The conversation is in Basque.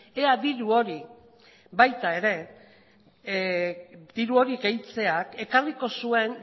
ea diru hori baita ere diru hori gehitzeak ekarriko zuen